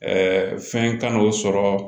Ɛɛ fɛn kan'o sɔrɔ